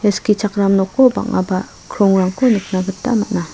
ia skichakram noko bang·aba krongrangko nikna gita gita man·a.